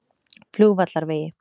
Flugvallarvegi